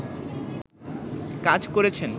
কাজ করেছেন